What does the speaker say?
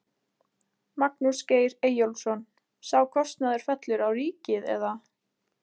Magnús Geir Eyjólfsson: Sá kostnaður fellur á ríkið eða?